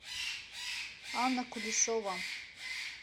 анна кулешова